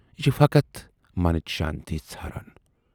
یہِ چھِ فقط منٕچ شٲنتی ژھاران۔